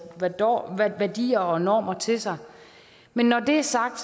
værdier og normer til sig men når det er sagt